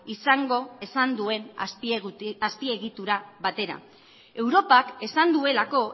izango esan duen azpiegitura batera europak esan duelako